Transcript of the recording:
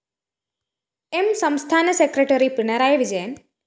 M സംസ്ഥാന സെക്രട്ടറി പിണറായി വിജയന്‍